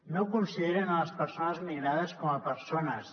no consideren les persones migrades com a persones